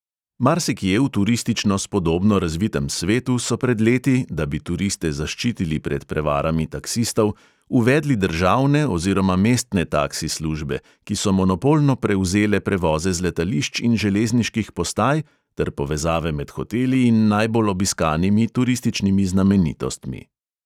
Marsikje v turistično spodobno razvitem svetu so pred leti, da bi turiste zaščitili pred prevarami taksistov, uvedli državne oziroma mestne taksi službe, ki so monopolno prevzele prevoze z letališč in železniških postaj ter povezave med hoteli in najbolj obiskanimi turističnimi znamenitostmi.